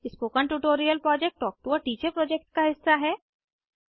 spoken tutorial project talk to a teacher project का हिस्सा है